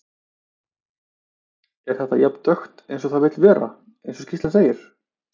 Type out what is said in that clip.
Er þetta jafn dökkt eins og það vill vera, eins og skýrslan segir?